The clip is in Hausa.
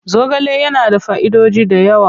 Zogale yana da fa'idoji da yawa.